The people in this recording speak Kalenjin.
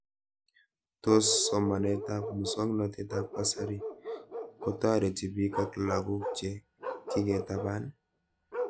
Tos somanet ab muswognatet ab kasari kotareti pik ak lakoko che kiketapan